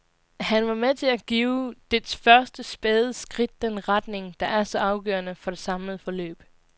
Han var med til at give dets første, spæde skridt den retning, der er så afgørende for det samlede forløb.